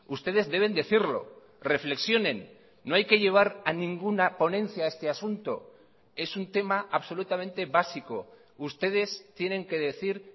ustedes deben decirlo reflexionen no hay que llevar a ninguna ponencia este asunto es un tema absolutamente básico ustedes tienen que decir